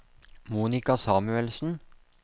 Monica Samuelsen